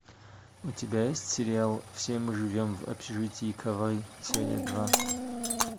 у тебя есть сериал все мы живем в общежитии кавай серия два